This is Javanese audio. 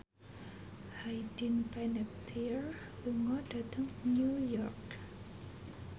Hayden Panettiere lunga dhateng New York